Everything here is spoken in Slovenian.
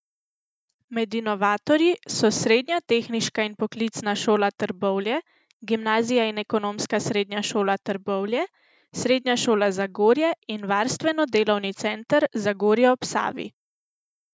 Med inovatorji so Srednja tehniška in poklicna šola Trbovlje, Gimnazija in ekonomska srednja šola Trbovlje, Srednja šola Zagorje in Varstveno delovni center Zagorje ob Savi.